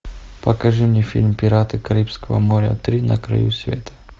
покажи мне фильм пираты карибского моря три на краю света